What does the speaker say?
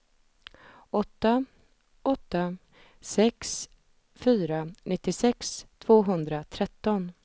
åtta åtta sex fyra nittiosex tvåhundratretton